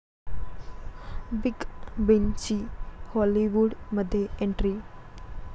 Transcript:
big बींची हॉलिवूडमध्ये entry